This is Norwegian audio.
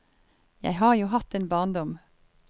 Jeg har jo hatt en barndom.